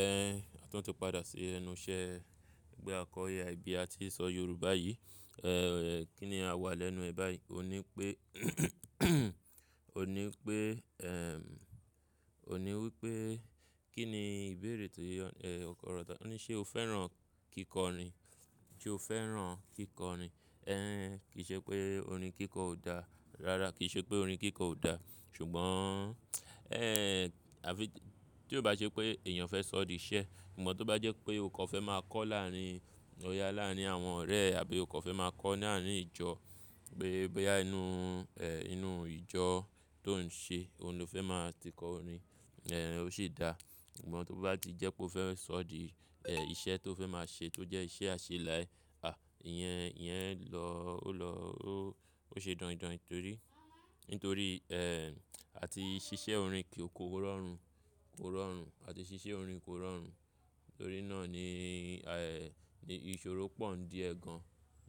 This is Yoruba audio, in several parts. Ẹ̀, tun tí padà sí ẹnu iṣẹ́, gbé àkọiua ibi ta ti sọ Yorùbá yìí, ẹ́, kí ni a wà lẹ́nu ẹ báyìí? O ní pé, o ní pé, ẹm, o ní wípé, kí ni ìbéèrè tó yé ọ, ẹ, ọkọ rọ ta, o ní ṣé o fẹ́ràn kíkọrin? Sé o fẹ́ràn kíkọrin? Ẹ̀hhn, kìí ṣe pé orin kíkọ ò dáa, rárá kìí ṣe pé orin kíkọ ò dáa, ṣùgbọ́n, ẹ́hhn, àfí tí ó bá ṣe pé èèyàn fẹ́ sọ di iṣẹ́, ṣùgbọ́n tó bá jẹ́ pé o kàn fẹ́ máa kọ láàárín, ọ̀ya láàárín àwọn ọ̀rẹ́ àbí o kàn fẹ́ máa kọ ní àárín ìjọ, pé bóyá inú, ẹ́, inú ìjọ tó ń ṣe, òun ló fẹ́ máa ti kọ orin, ẹ́hn, ó sì dáa. Ṣùgbọ́n tó bá ti jẹ́ pé o fẹ́ sọ di, ẹ́, iṣẹ́ tó fẹ́ máa ṣe tó jẹ́ iṣẹ́ àṣẹ láa, e, ìyẹn, ìyẹn lọ, ó lọ, ó, ó ṣe daindain torí, nítorí, ẹ́h, àti ṣíṣe orin kò rọrùn, kò rọrùn, àti ṣíṣe orin kò rọrùn. Nítorí náà ni, àì, ni ìṣòro pọ̀ ń di ẹ̀ gan.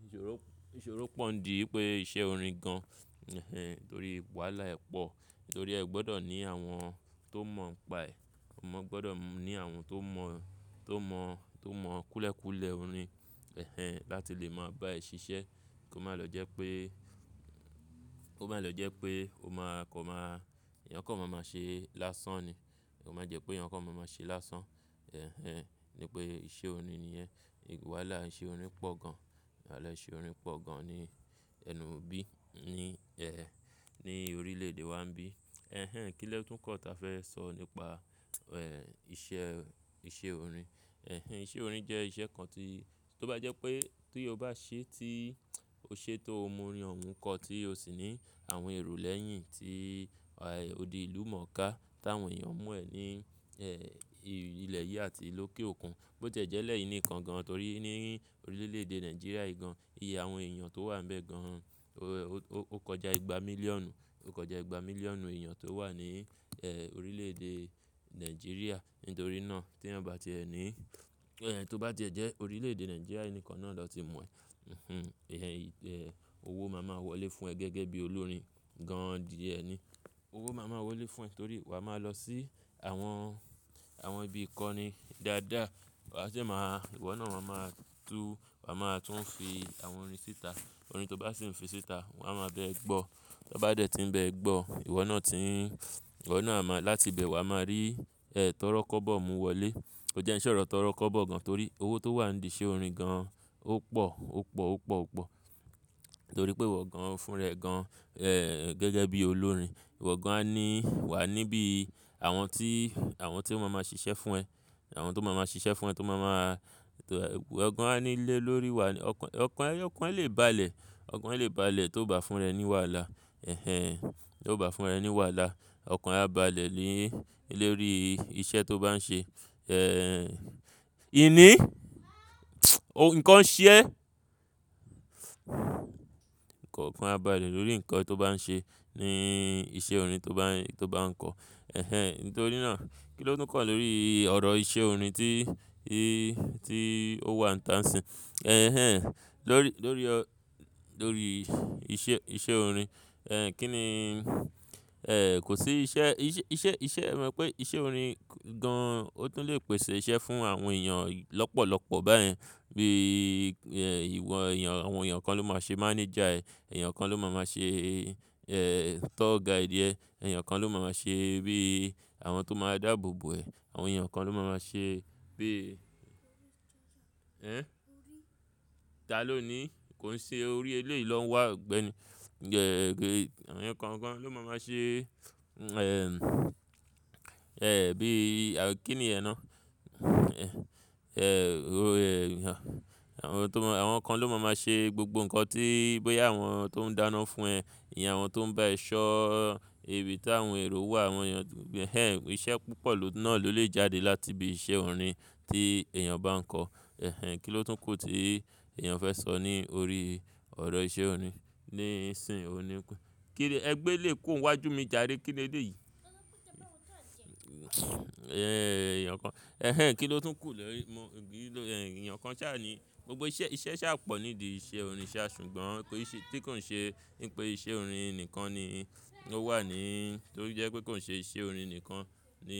Ìṣòro, ìṣòro pọ̀ ń di pé iṣẹ́ orin gan, ẹ̀hhn, torí wàhálà ẹ̀ pọ̀. Nítorí ẹ gbọdọ̀ ní àwọn tó mọ̀ ń paẹ̀, ọmọ gbọdọ̀ ní àwọn tó mọ̀, tó mọ̀, tó mọ̀ kúlẹ̀kúlẹ̀ orin, ẹ̀hen, láti lè máa bá ẹ ṣiṣẹ́. Kò má lọ jẹ́ pé, kò má lọ jẹ́ pé o máa kọ máa, èèyàn kàn máa máa ṣe lásán ni. Kò má jẹ́ pé èèyàn kàn máa máa ṣe lásán, ẹ̀hen, ní pé iṣẹ́ orin ni yẹ́n. Wàhálà iṣẹ́ orin pọ̀ gan. Wahàlá iṣẹ́ orin pọ̀ gan ní ẹnubí, ní, ẹ́, ní orílẹ̀-èdè wa ńbí. Ẹ̀hen, kí ló tún kan ta fẹ́ sọ nípa, ẹ́, iṣẹ́, iṣẹ́ orin? Ẹ̀hen, iṣẹ́ orin jẹ́ iṣẹ́ kan tí tó bá jẹ́ pé tí o bá ṣe tí o ṣe tó mu orin ọ̀ún kọ́ tí o sì ní àwọn èrò lẹ́yìn tí, àì, odi ìlú mọ̀ ká tí àwọn èèyàn mo ẹ ní, ẹ́, ilẹ̀ yìí àti lókè òkun. Bó tiejele yìí nikan gan torí ní orílẹ̀-èdè Nigeria yìgan, iye àwọn èèyàn tó wà ńbẹ gan, o, o kọjá ìgbà mílíọ̀nù, o kọjá ìgbà mílíọ̀nù èèyàn tó wà ní, ẹ́, orílẹ̀-èdè Nigeria. Nítorí náà tí eeyan bá ti ẹ ní, ẹ́, tó bá ti ẹ jẹ́ orílẹ̀-èdè Nigeria nìkan náà lọ́ ti mo ẹ, hunhun, ìyẹn, ì, ẹ́, owó máa máa wọlé fún ẹ gẹ́gẹ́ bí olórin gan di ẹ ni. Owó máa máa wọlé fún ẹ torí wà máa lọ sí àwọn, àwọn ibi ìkọ́ni dáadáa. Wà á jẹ́ máa, ìwọ náà máa máa tú, wà máa tún ń fi àwọn orin síta. Orin tó bá sì ń fi síta, wọ́n á máa bẹẹ gbọ́. Tí wọ́n bá dẹ̀ tí ń bẹ ẹ gbọ́, ìwọ náà ti ń, ìwọ náà máa, láti ibẹ̀ wà máa rí, ẹ́, tọ́rọ́kọbọ̀ mú wọlé. Kó jẹ́ ẹ́ ṣọ̀rọ̀ tọ́rọ́kọbọ̀ gan torí owó tó wà nídi iṣẹ́ orin gan ó pọ̀, ó pọ̀, ó pọ̀, ó pọ̀. Nítorí pé ìwọ gan, ń fún ra e gan, ẹ́, gẹ́gẹ́ bí olórin. Ìwọ gan á ní wà níbí àwọn tí, àwọn tí ó máa máa ṣiṣẹ́ fún ẹ. Àwọn tó máa máa ṣiṣẹ́ fún ẹ, tó máa máa, ìwọ gan á ní lé lórí wà. Ọkàn, ọkàn ẹ, ọkàn ẹ lè balẹ̀. Ọkàn ẹ lè balẹ̀ tó bá fún ra ẹ ní wàhálà, ẹ̀hen, tó bá fún ra ẹ ní wàhálà. Ọkàn ẹ á balẹ̀ ni ilórí iṣẹ́ tó bá ń ṣe. Ẹ̀, ìní? Ohun kan ṣiyẹ́? Ọkàn ẹ á balẹ̀ lórí nǹkan tó bá ń ṣe ní iṣẹ́ orin tó bá ń, tó bá ń kọ. Ẹ̀hen, nítorí náà, kí ló tún kọ̀ lórí ọ̀rọ̀ iṣẹ́ orin tí, í, tí ó wà níta sìn? Ẹ̀hen, lórí, lórí ọ̀, lórí iṣẹ́, iṣẹ́ orin, ẹ́, kí ni, ẹ́, kò sí iṣẹ́, iṣẹ́, iṣẹ́, iṣẹ́, mo mọ pé iṣẹ́ orin gan ó tún lè pèsè iṣẹ́ fún àwọn èèyàn lọ́pọ̀lọ́pọ̀ báyẹn. Bí, ẹ́, ìwọ èèyàn, àwọn èèyàn kan ló máa ṣe mánẹ́jà ẹ, èèyàn kan ló máa máa ṣe, ẹ́, tọ́ọ́gàìdí ẹ, èèyàn kan ló máa máa ṣe bí àwọn tó máa dáàbòbò ẹ, àwọn èèyàn kan ló máa máa ṣe bí, ẹ́n? Ta ló ní kò ń ṣe orí eleyi lo wá ogbẹni. Gẹ́gẹ́, àwọn èèyàn kan kan ló máa máa ṣe, ẹ́, ẹ́, bí, kí ni yẹ ná? Ẹ̀, ó, ẹ́, àwọn tó mọ̀, àwọn kan ló máa máa ṣe gbogbo nǹkan tí bóyá àwọn tó ń dáná fún ẹ, ìyẹn àwọn tó ń bá ẹ ṣọ́ ibi tí àwọn èrò wà, àwọn èèyàn, hehe, iṣẹ́ púpọ̀ lo naa lè jáde láti ibi iṣẹ́ orin tí èèyàn bá ń kọ. Ẹ̀hen, kí ló tún kù tí èèyàn fẹ́ sọ ní orí ọ̀rọ̀ iṣẹ́ orin níìsín? O ní pé kíni ẹgbẹ́ lè kó wájú mi jare kíi le le yìí? Ẹ́, èèyàn kan, ẹ̀hen, kí ló tún kù lórí, mo, gíló, ẹ́, èèyàn kan sá ni gbogbo iṣẹ́, iṣẹ́ sá pọ̀ nídi iṣẹ́ orin sá ṣùgbọ́n pé ìṣe, tí kań ṣe wípé iṣẹ́ orin nìkan ni ó wà ní, torí jẹ́ pé kò ń ṣe iṣẹ́ orin nìkan ni.